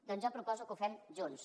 doncs jo proposo que ho fem junts